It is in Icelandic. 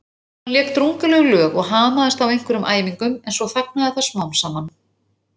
Hann lék drungaleg lög og hamaðist á einhverjum æfingum en svo þagnaði það smám saman.